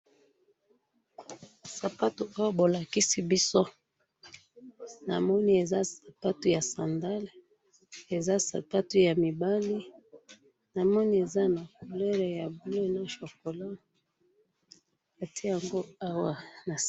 sapato oyo bolakisi biso, na moni eza sapato ya sandales, eza sapato ya mibali, na moni eza na couleur ya bleu na chocolat ba tie yango awa,....